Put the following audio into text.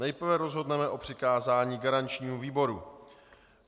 Nejprve rozhodneme o přikázání garančnímu výboru.